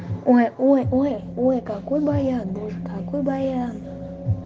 ой-ой-ой ой какой баян боже какой баян